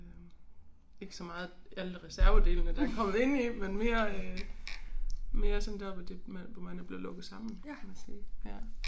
Øh ikke så meget alle reservedelene der kommet indeni men mere øh mere sådan deroppe hvor det hvor man er blevet lukket sammen kan man sige ja